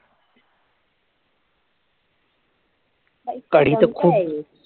कढी तर खूप